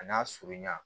A n'a surunya